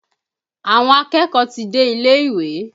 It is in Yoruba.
Àwọn akẹ́kọ̀ọ́ ti dé ilé-ìwé